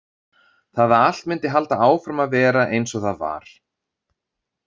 Það að allt myndi halda áfram að vera eins og það var.